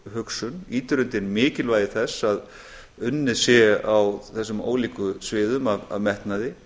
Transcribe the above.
hugsun ýtir undir mikilvægi þess að unnið sé á þessum ólíku sviðum af metnaði